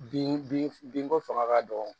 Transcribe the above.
Bin binko fanga ka dɔgɔ